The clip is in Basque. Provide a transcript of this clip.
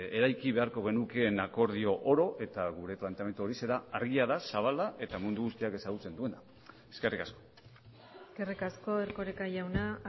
eraiki beharko genukeen akordio oro eta gure planteamendua horixe da argia da zabala eta mundu guztiak ezagutzen duena eskerrik asko eskerrik asko erkoreka jauna